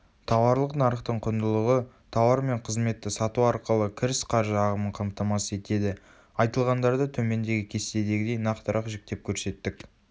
тауарлық нарықтың құндылығы тауар мен қызметті сату арқылы кіріс қаржы ағымын қамтамасыз етеді.айтылғандарды төмендегі кестедегідей нақтырақ жіктеп көрсеттік